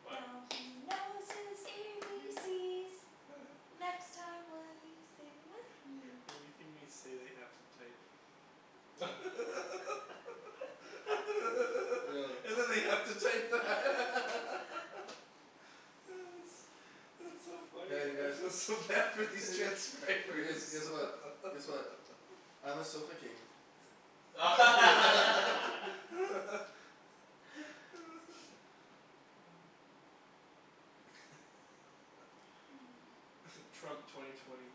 What? Now he knows his A B C's. Next time will you sing with me? Everything we say they have to type. Yo And then they have to type that. That's that's so funny. Hey you I feel guys. so bad for these You transcribers. guys. Guess what, guess what. I'm a sofa king. Mmm. Trump twenty twenty.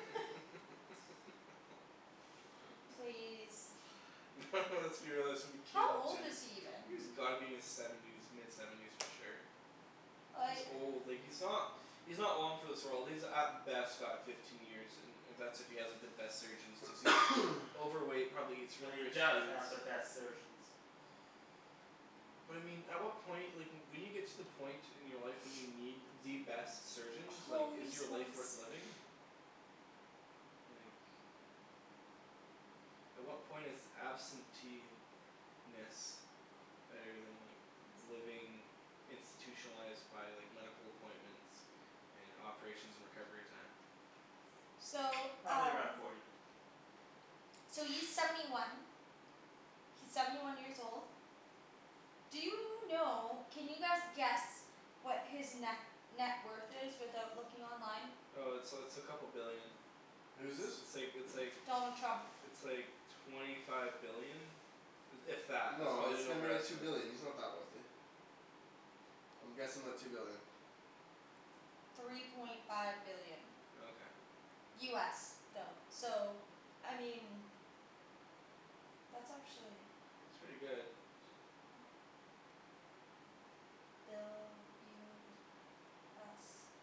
Please. No let's be realistic, it's gonna How be Caitlyn old is Jenner. he even? He's gotta be in his seventies, mid seventies for sure. He's Like old, like he's not he's not long for this world. He's at best got fifteen years, and that's if he has the best surgeons, cuz he's overweight, probably eats But really he rich does foods. have the best surgeons. But I mean, at what point, like when you get to the point in your life when you need the best surgeons, like is Holy your life smokes. worth living? Like At what point is absentee - ness better than like living institutionalized by like medical appointments and operations and recovery time? So Probably around um forty. So he's seventy one. He's seventy one years old. Do you know, can you guys guess what his ne- net worth is without looking online? Uh it's uh it's a couple billion. Who's this? It's like, it's like Donald Trump. it's like twenty five billion. If that. That's No, probably it's an gotta be like two overestimate. billion, he's not that wealthy. I'm guessing like two billion. Three point five billion. Oh okay. US though. So I mean that's actually It's pretty good. Bill US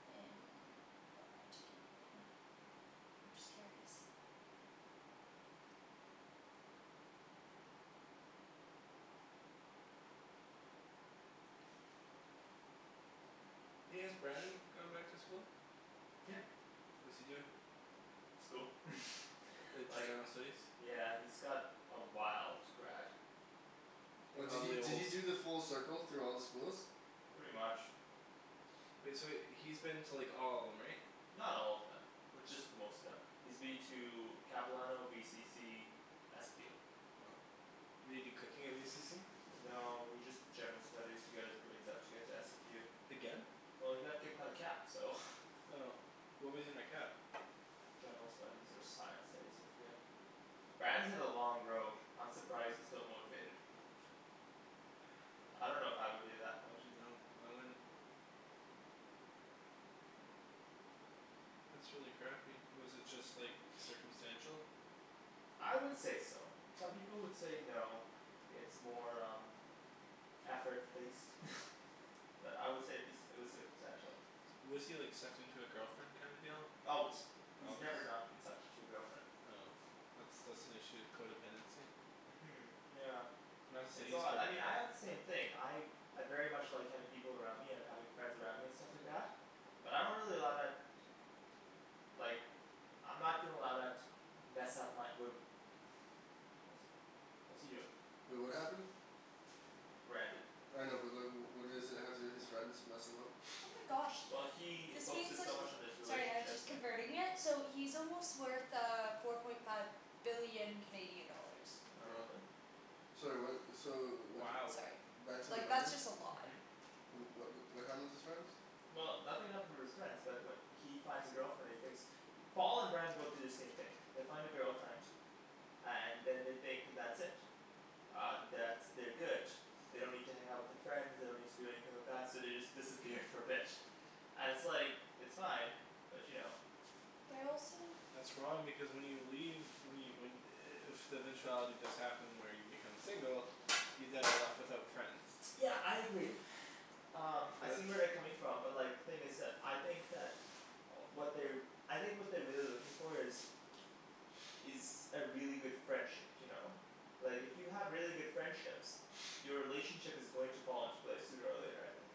in uh to Canadian. I'm just curious. Hey, has Brandon gone back to school? Yeah. What's he doing? School. Like just Like general studies? Yeah he's got a while to grad. And Oh did he probably a did he whole do the full circle through all the schools? Pretty much. Wait, so he's been to like all of them, right? Not all of them. Just most of them. He's been to Capilano, VCC SFU Did he do cooking at VCC? No he just did general studies to get his grades up to get to SFU Again? Well he got kicked out of Cap so. Oh. What was he in at Cap? General studies or science studies, I forget. Brandon's had a long road. I'm surprised he's still motivated. I don't know if I would be at that point. No, I wouldn't. That's really crappy. Was it just like circumstantial? I would say so. Some people would say no. It's more um effort based. But I would say it'd be, it was circumstantial. Was he like sucked into a girlfriend kind of deal? Always. He's Always? never not been sucked into a girlfriend. Oh. That's that's an issue, codependency. Mhm yeah. It's all that, I mean I codependent. had the same thing, I I very much like having people around me and having friends around me and stuff like that. But I don't really allow that like I'm not gonna allow that to mess up my, wh- What's he doing? Wait, what happened? Brandon. I know but like, wh- what is it, how did his friends mess him up? Oh my gosh. Well he This means focuses that so he's much on his Sorry I was relationship, just yeah. converting it, so he's almost worth uh four point five billion Canadian dollars. Oh really? Sorry what, so wh- y- Sorry. Back to the Like that's Brandon? just a lot. What wh- what happened with his friends? Well, nothing happened with his friends, but wh- he finds a girlfriend, he thinks Paul and Brandon both do the same thing. They find a girlfriend. And then they think that's it. Um, that's, they're good. They don't need to hang out with their friends, they don't need to do anything like that, so they just disappear for a bit. And it's like, it's fine, but you know. They're also That's wrong because when you leave, when you when i- if the eventuality does happen where you become single you then are left without friends. Yeah I agree. Um I But see where they're coming from but like, the thing is that, I think that what they're I think what they're really looking for is is a really good friendship, you know? Like if you have really good friendships your relationship is going to fall into place sooner or later, I think.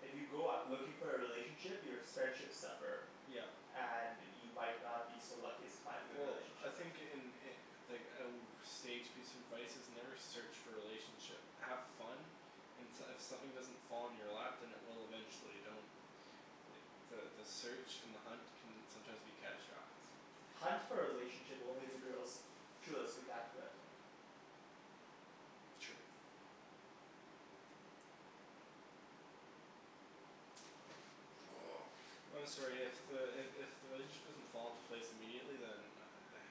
If you go out looking for a relationship, your s- friendships suffer. Yep. And you might not be so lucky as to find a good Well I relationship. think in i- like a w- sage piece of advice, is never search for a relationship. Have fun and s- if something doesn't fall in your lap, then it will eventually. Don't like, the the search and the hunt can sometimes be catastrophic. Hunt for a relationship only if the girl's truly spectacular, I think. True. I'm sorry, if the, i- if the relationship doesn't fall into place immediately, then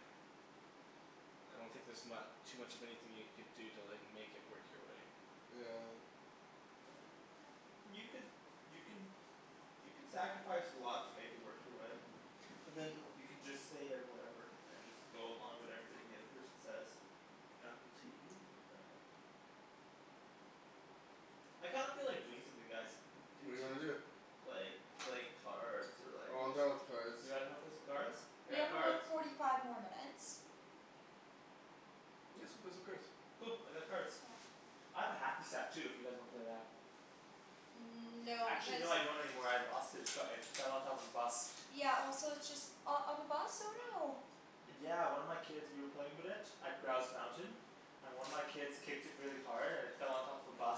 I don't think there's mu- too much of anything you could do to like make it work your way. Yeah. You could, you can you can sacrifice a lot to make it work your way. But then You can just say that whatever, and just go along with everything the other person says. Apple TV Yeah. I kind of feel like doing something, guys. I do What do you wanna too. do? Like, like cards or like, Oh I'm yes done with cards. You guys wanna play some cards? We have about forty five more minutes. Yeah, let's go play some cards. Cool, I got cards. I have a hacky sack too if you guys wanna play that. Mmm no, Actually because no, I don't anymore, I lost it. It's got, it fell on top of a bus. Yeah also it's just, oh on the bus? Oh no. Yeah one of my kids, we were playing with it at Grouse Mountain. And one of my kids kicked it really hard and it fell on top of a bus.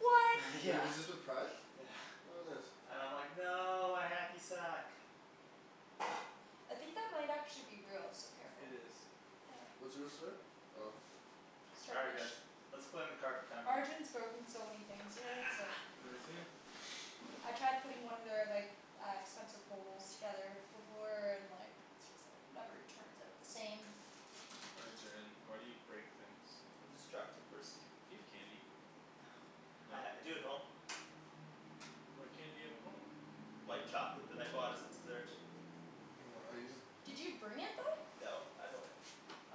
What? Wait, Yeah. was this with pride? Yeah. What bus? And I'm like "No, my hacky sack!" I think that might actually be real, so It careful. is. What's real, sorry? Oh. All right guys. Let's play in the Arjan's broken so many things here, it's like Has he? I tried putting one of their like, uh expensive bowls together before, and like just like, never turns out the same. Arjan, why do you break things? I'm a destructive person. Do you have candy? Uh No? I do at home. What candy do you have at home? White chocolate that I bought as a dessert. Hold on, I need to just Did you bring it though? No, at home.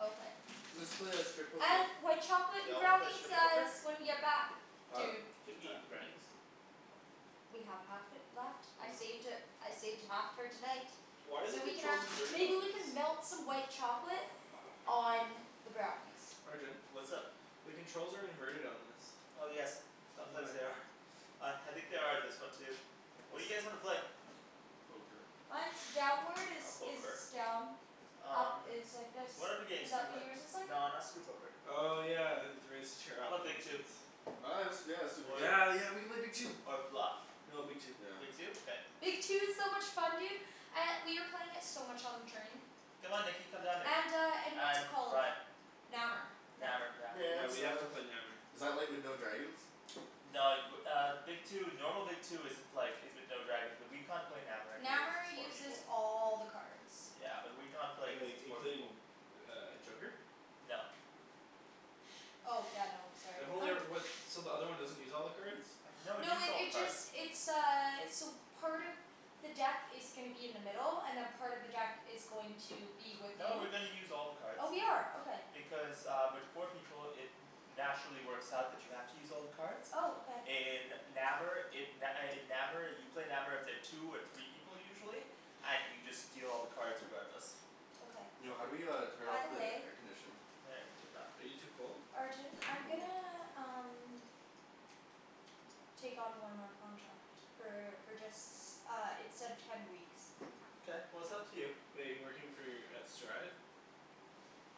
Okay. Let's play uh strip poker. And white chocolate Y'all wanna play brownies strip poker? guys, when you get back. Huh? Dude. Didn't we eat the brownies? We have half it left, I saved it, I saved half for tonight. Why are the So we can controls have, inverted maybe on we this? can melt some white chocolate on the brownies. Arjan? What's up? The controls are inverted on this. Oh yes, sometimes Why? they are. Uh I think they are on this one too. What do you guys wanna play? Poker. Mine's downward is, I'll poke is her. done. Up Um is like this, What other games is do you that what play? yours is like? No not strip poker. Oh yeah, raise the chair How up, 'bout that Big makes Two? sense. Oh yeah, let's do yeah let's do Big Two. Yeah yeah, we could play Big Two. Or Bluff. No, Big Two. Yeah. Big Two? Okay. Big Two is so much fun dude. Uh, we were playing it so much on the train. Come on Nikki, come down here. And uh and what's it And called? Ryan. Nammer. Nammer, yeah. No, I Yeah we missed have to out. play Nammer. Is that like with no dragons? No, y- w- uh Big Two, normal Big Two isn't like, is with no dragons, but we can't play Nammer anyway cuz Nammer it's four uses people. all the cards. Yeah and we can't play because Like, it's four people. including uh joker? No. Oh yeah, no, sorry. I've only e- what, so the other one doesn't use all the cards? No, it No uses it all the it cards. just, it's uh, so part of the deck is gonna be in the middle, and then part of the deck is going to be with No, we're you. gonna use all the cards. Oh we are, okay. Because uh with four people, it naturally works out that you have to use all the cards. Oh, okay. In Nammer it, n- uh in Nammer you play Nammer with the two or three people usually. And you just deal all the cards regardless. Okay. Yo, how do we uh turn By off the the way air conditioning? Are you too cold? Arjan, Yeah, I'm I'm cold. gonna um take on one more contract. For for just, uh it said ten weeks. Mkay, well it's up to you. Wait, you're working for, at Strive?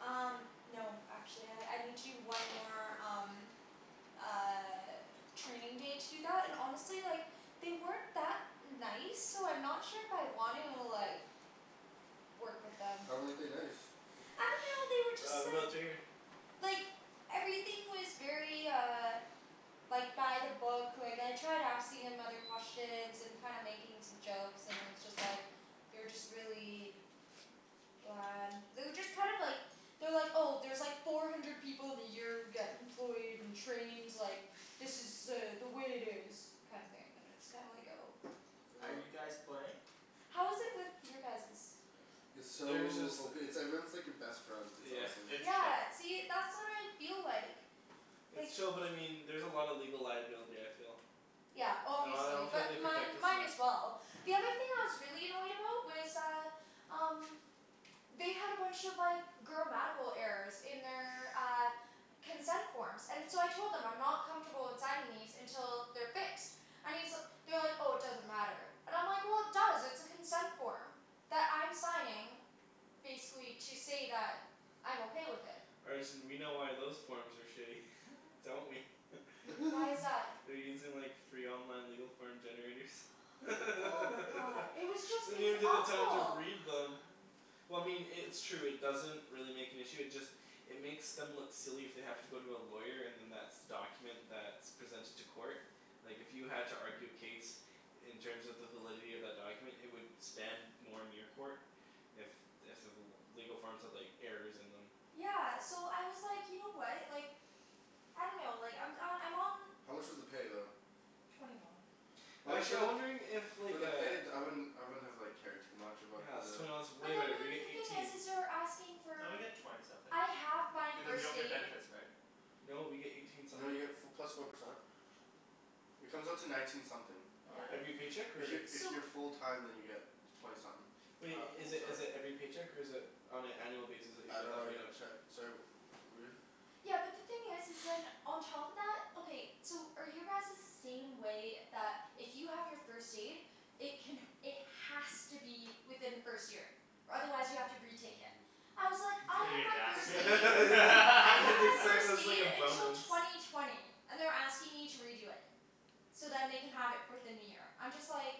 Um no actually, I I need to do one more, um uh training day to do that, and honestly, like they weren't that nice, so I'm not sure if I want to, like work with them. How weren't they nice? I dunno, they were Ah, just like remote's right here. like everything was very uh like by the book, like I tried asking him other questions and kinda making some jokes, and it was just like they were just really bland. They were just kind of like they're like, "Oh, there's like four hundred people in the year who get employed and trained, like, this is uh the way it is." kinda thing, and it's kinda like, oh. Are Oh. you guys playing? How is it with your guys's? It's There's just so ope- it's like everyone's like your best friend, it's Yeah. awesome. It's chill. Yeah, see, that's what I feel like. It's like chill but I mean, there's a lot of legal liability, I feel. Yeah, I obviously, don't feel like they but mine protect us mine enough. as well. The other thing I was really annoyed about was uh um they had a bunch of like grammatical errors in their, uh consent forms. And so I told them, I'm not comfortable in signing these until they're fixed. I mean, so, they were like "Oh, it doesn't matter." And I'm like "Well, it does, it's a consent form." That I'm signing basically to say that I'm okay with it. Arjan we know why those forms are shitty. Don't we? Why is that? They're using like free online legal form generators. They Oh my god. It was just don't it was even take the time to awful. read them. Well I mean i- it's true, it doesn't really make an issue, it just it makes them look silly if they have to go to a lawyer and then that's the document that's presented to court. Like if you had to argue a case in terms of the validity of that document, it would stand more in your court if if the l- legal forms had like errors in them. Yeah so I was like, you know what, like I dunno, like I'm uh, I'm on How much was the pay though? twenty one. I mean Actually for I'm the wondering if for like the uh pay d- I wouldn't, I wouldn't have like cared too much about Yeah it's the twenty one's way But then better. the We get other thing is eighteen. is they're asking No, you for get twenty something. I have my Because you first don't get aid. benefits, right? No, we get eighteen You know you something. get f- plus four percent. It comes out to nineteen something. Oh Yeah. really? Every paycheck If y- or? if So you're full time then you get twenty something. Wait, i- is it is Sorry? it every paycheck or is it on an annual basis that you I get don't that know I paid get a out? check, sorry wh- Yeah, but the thing is is then, on top of that, okay, so are your guys's the same way, that if you have your first aid it can, it has to be within the first year? Or otherwise you have to retake it. I was like, I Didn't have even my ask first me They aid. I have my said it first was like aid a until bonus. twenty twenty. And they're asking me to redo it. So then they can have it fourth in the year. I'm just like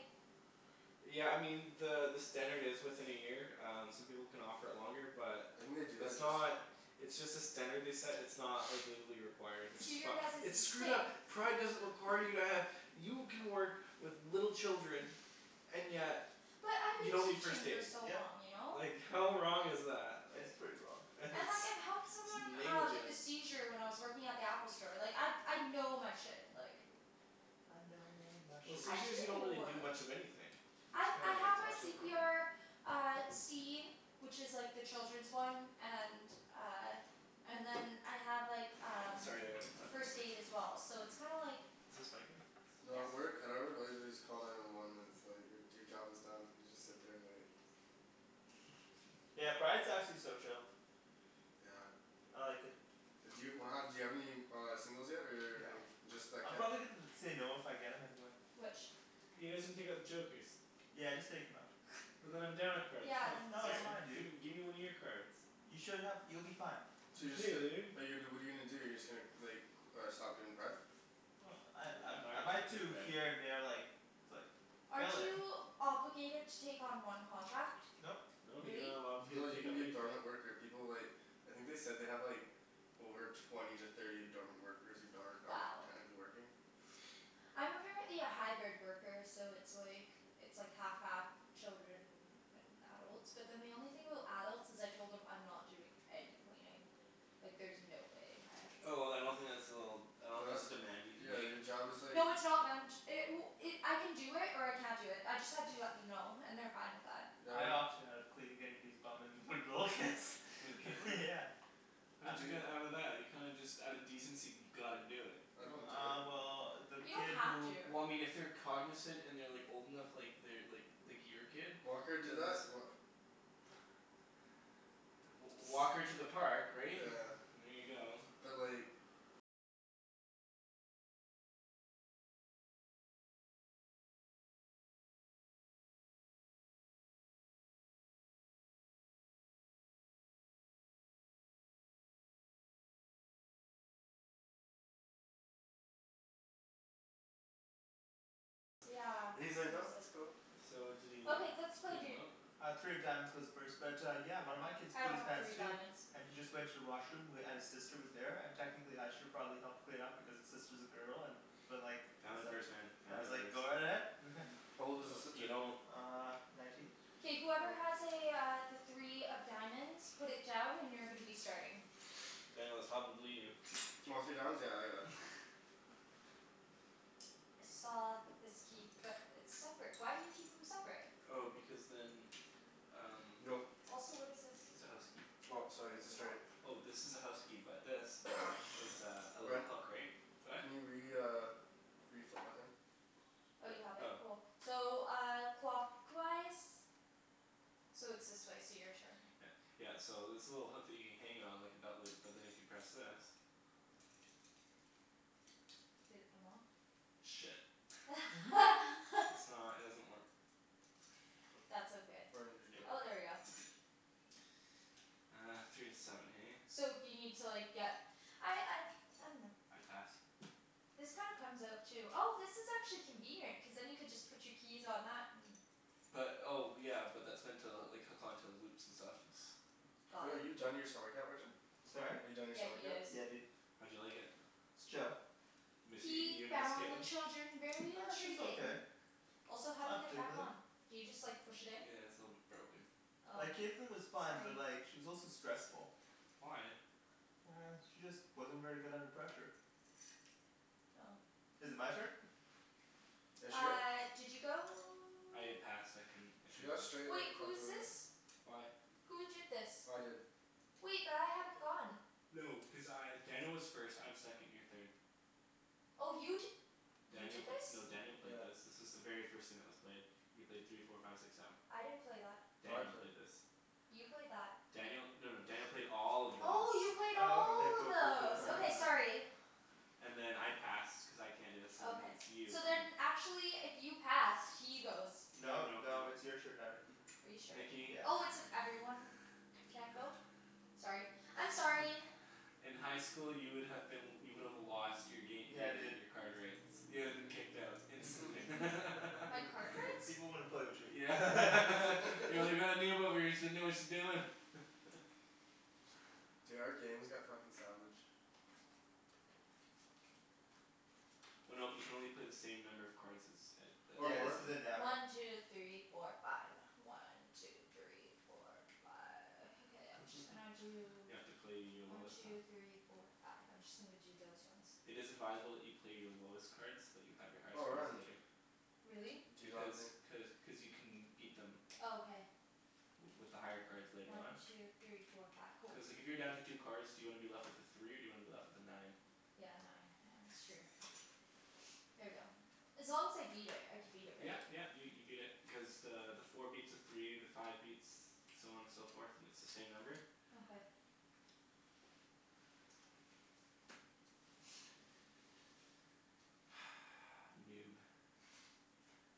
Yeah I mean, the the standard is within a year, um some people can offer it longer, but I think they do it's that just not it's just a standard they set, it's not like legally required, which is So your fucked. guys's It's is the screwed same. up! Pride doesn't require you to have, you can work with little children and yet But I've you been don't need first teaching for aid. so Yep. long, you know? Like how wrong is that? It's pretty wrong. Like it's And like I've helped someone uh with a negligent. seizure when I was working at the Apple store. Like I I know my shit, like I know my Well, shit. I seizures you don't really do. do much of anything. You I just I kinda have like my watch c over p 'em. r Uh, C. Which is like the children's one, and uh and then I have like Oh um sorry I gotta plug this first in. aid as well. So it's kinda like Is this my thing? No, at Yep. work, at our work all you have to do is call nine one one and it's like your job is done, you just sit there and wait. Yeah, Pride's actually so chill. Yeah. I like it. D'you do you have any uh singles yet or No. any, just that I'm kid? probably gonna end up saying no if I get him anyway. Which? You guys didn't take out the jokers. Yeah just take 'em out. And then I'm down a card, that's Yeah, not then No it's it's fair. um fine dude. Gimme gimme one of your cards. You should have, you'll be fine. So you're just f- Dude. but you what are you gonna do, you're just gonna like c- stop doing pride? Well, I I I'm not I might do here and gonna there, like like Aren't fill in. you obligated to take on one contract? Nope. No, you're Really? not allowed to No, you take can on be a anything. dormant worker, people like I think they said they have like over twenty to thirty dormant workers, who darn- aren't Wow. technically working. I'm apparently a hybrid worker, so it's like it's like half half children and adults. But then the only thing about adults is I told them I'm not doing any cleaning. Like there's no way in heck. Oh then I don't think that's a little, I don't No think that's that's a demand you can Yeah make. your job is like No, it's not man- ch- it w- it, I can do it, or I can't do it, I just had to let them know and they're fine with that. Yeah what I do opted out of cleaning anybody's bum and with little kids. With Kaitlyn? Yeah. How did you Do they get out of that? You kinda just out of decency gotta do it. I don't do it. Uh well the You kid don't have who to. Well I mean if they're cognizant and they're like old enough, like they're like like your kid. Walker do Then that's that? Wha- w- walk her to the park, right? Yeah. And there you go. But like Yeah, And he's like "No, seriously. that's cool." So did he like Okay, let's play, clean them dude. out? Uh three of diamonds goes first but yeah, one of my kids I pooed don't his have pants three of too. diamonds. And he just went to the washroom, w- and his sister was there, and technically I should have probably helped clean up because his sister's a girl, and but like I Family was like, first man, I family was like first. "Go ahead." How old was his No, you sister? don't Uh nineteen? K whoever has Oh. a uh, the three of diamonds, put it down and you're gonna be starting. Daniel, it's probably you. Oh, three of diamonds? Yeah I got it. I saw this key, but it's separate. Why do you keep them separate? Oh because then um Go. Also what is this? it's a house key. Oh sorry it's a It's a straight. what? Oh, this is a house key, but this is a, a little Ryan. hook, right? Go ahead. Can you re- uh reflip my thing? Oh you have it? Oh. Cool. So uh, clockwise? So it's this way, so your turn. Yeah. Yeah, so this little hook that you hang it on like a belt loop. But then if you press this Did it come off? Shit. I's not, it doesn't work. That's okay. Oh, there we go. Uh, three to seven hey? So if you need to like, get I I I dunno. I pass. This kinda comes out too. Oh this is actually convenient, cuz then you could just put your keys on that, and But, oh yeah, but that's meant to like hook onto loops and stuff, it's Wait, Got are it. you done your summer camp, Arjan? Sorry? Are you done your Yeah, summer he camp? is. Yeah dude. How'd you like it? It's chill. Miss, y- He you gonna miss found the Kaitlyn? children very She's okay. intriguing. Also how do you Not get it back particularly. on? Do you just like push it in? Yeah, it's a little bit broken. Oh. Like Kaitlyn was fine, Sorry. but like she was also stressful. Why? She just wasn't very good under pressure. Oh. Is it my turn? Yeah shit. Uh did you go? I passed. I couldn't, I She couldn't got go. straight Wait, like who fucked is over. this? Why? Who did this? I did. Wait, but I hadn't gone. No, because I, Daniel was first, I'm second, you're third. Oh you d- You Daniel did p- this? no Daniel played this. This is the very first thing that was played. You played three four five six seven. I didn't play that. No, I Daniel played. played this. You played that. Daniel, no no Daniel played all of this. Oh, you played Oh Oh. okay all of cool cool cool. those. Yeah. Okay sorry. And then I passed cuz I can't, so then Okay. it's you. So then actually if you passed, he goes. No No no no. no it's your turn now, Nikki. Are you sure? Nikki. Yeah. Oh, it's if everyone can't go? Sorry. I'm sorry. In high school you would have been, you would have lost your gam- , Yeah your dude. your card rights. You would have been kicked out instantly. My Peop- card people rights? people wouldn't play with you. Yeah. Yeah we got a noob over here, she doesn't know what she's doing. Dude, our game has got fucking savage. Oh no, you can only play the same number of cards as, a Or Yeah this more. a isn't Nammer. One two three four five. One two three four five. Okay, I'm just gonna do You have to play your One lowest, two three uh four five. I'm just gonna g- do those ones. It is advisable that you play your lowest cards, so that you have your highest Oh cards man. later. Really? D- do you not Because, think cuz cuz you can beat them Oh okay. w- with the higher cards later One on. two three four five. Cool. Cuz like if you're down to two cards, do you wanna be left with a three or do you wanna be left with a nine? Yeah, nine. Yeah, that's true. Here we go. As long as I beat it, I can beat it Yeah right? yeah, you you beat it, because the the four beats a three, the five beats, so on and so forth, and it's the same number. Okay. Noob.